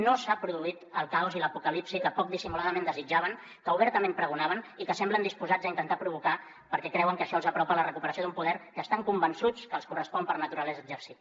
no s’ha produït el caos i l’apocalipsi que poc dissimuladament desitjaven que obertament pregonaven i que semblen disposats a intentar provocar perquè creuen que això els apropa a la recuperació d’un poder que estan convençuts que els correspon per naturalesa exercir